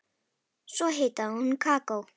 Svo hitaði hún kakó.